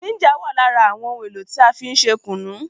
Jínjà wà lára àwọn ohun èlò tí a fí n ṣe kùnú